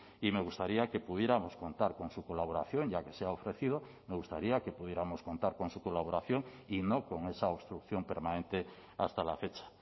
y me gustaría que pudiéramos contar con su colaboración ya que se ha ofrecido me gustaría que pudiéramos contar con su colaboración y no con esa obstrucción permanente hasta la fecha